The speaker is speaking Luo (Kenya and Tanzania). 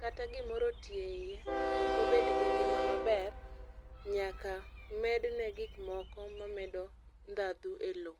kata gimoro otii e iye tokobed gi ngima maber nyaka medne gik moko mamedo ndhandhu e loo